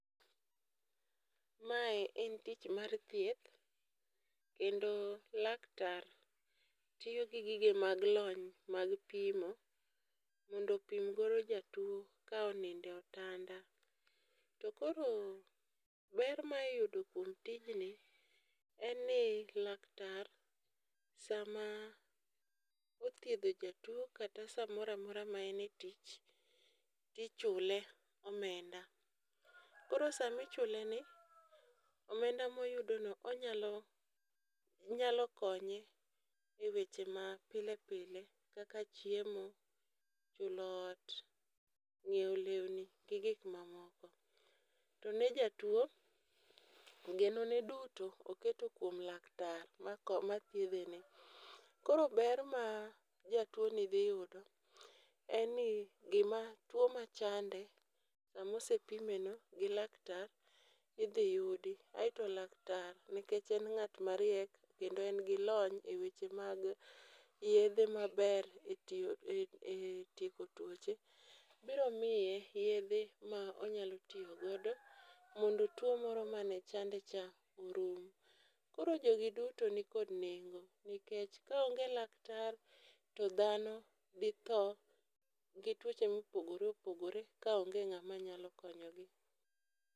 Mae en tich mar thieth kendo laktar tiyo gi gige mag lony mag pimo, mondo opim godo jatuo ka oninde otanda. To koro ber ma iyudo kuom tijni en ni laktar sama othiedho jatuo kata sa moramora ma en e tich, tichule omenda. Koro sami chuleni, omenda moyudono onyalo nyalo konye e weche ma pile pile kaka chiemo, chulo ot, ng'ieo lewni gi gik mamoko. To ne jatuo, geno ne duto oketo kuom laktar ma ko ma thiedheni. Koro ber ma jatuoni dhi yudo en ni gima tuo machande samosepime no gi laktar, idhi yudi. Aeto laktar, nikech en ngat ma riek kendo en gi lony e weche mag yedhe maber e tiyo e tieko tuoche, biro miye yedhe ma onyalo tiyo godo mondo tuo moro mane chande cha orum. Koro jogi duto nikod nengo, nikech kaonge laktar to dhano dhi tho gi tuoche mopogore opogore ka onge ng'ama nyalo konyogi.